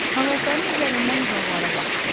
Ağacların üzərindən uzaqlara baxdı.